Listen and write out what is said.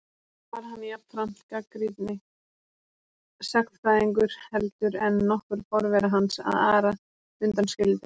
Þó var hann jafnframt gagnrýnni sagnfræðingur heldur en nokkur forvera hans, að Ara undan skildum.